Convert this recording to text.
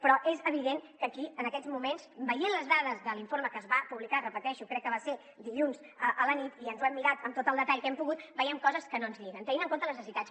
però és evident que aquí en aquests moments veient les dades de l’informe que es va publicar ho repeteixo crec que va ser dilluns a la nit i ens ho hem mirat amb tot el detall que hem pogut veiem coses que no ens lliguen tenint en compte les necessitats